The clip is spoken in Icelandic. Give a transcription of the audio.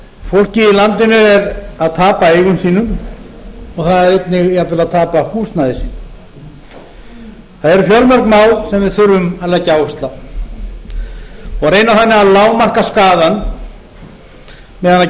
fólkið í landinu er að tapa eigum sínum og það er einnig jafnvel að tapa húsnæði sínu það eru fjölmörg mál sem við þurfum að leggja áherslu á og reyna þannig að lágmarka skaðann meðan